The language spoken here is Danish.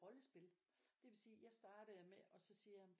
Rollespil det vil sige jeg startede med og så siger jeg